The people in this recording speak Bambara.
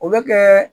O bɛ kɛ